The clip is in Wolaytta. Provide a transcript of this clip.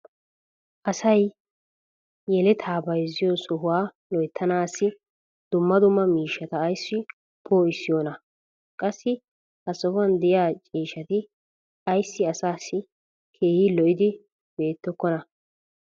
asay yelettaa bayzziyo sohuwa loyttanaassi dumma dumma miishsata ayssi poo'issiyoonaa? qassi ha sohuwan diya ciishshati ayssi asaassi keehi lo'idi beettikkonaa?